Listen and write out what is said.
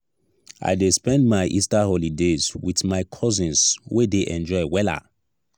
i dey spend my easter holidays wit my cousins we dey enjoy wella.